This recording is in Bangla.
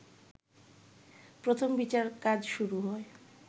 প্রথম বিচার কাজ শুরু হয়